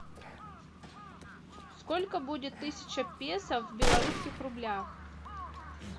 сколько будет тысяча песо в белорусских рублях